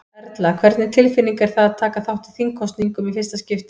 Erla: Hvernig tilfinning er það að taka þátt í þingkosningum í fyrsta skipti?